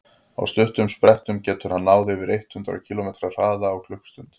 á stuttum sprettum getur hann náð yfir eitt hundruð kílómetri hraða á klukkustund